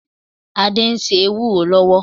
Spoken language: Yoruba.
Adé ń se ewúró lọ́wọ́.